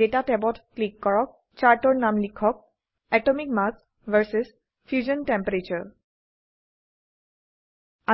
data ট্যাবত click কৰক চাৰ্টৰ নাম লিখক atomic মাছ ভিএছ ফিউশ্যন টেম্পাৰাটোৰে